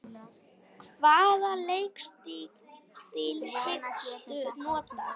Hvaða leikstíl hyggstu nota?